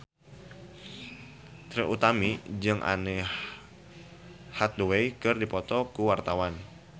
Trie Utami jeung Anne Hathaway keur dipoto ku wartawan